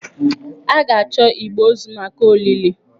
A ga-achọ igbe ozu maka olili.